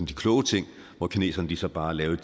de kloge ting hvor kineserne så bare lavede